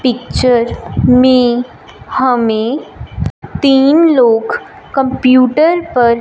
picture में हमें तीन लोग कंप्यूटर पर--